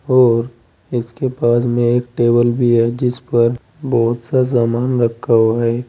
और इसके पास में एक टेबल भी है जिस पर बहुत सा सामान रखा हुआ है।